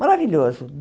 Maravilhoso!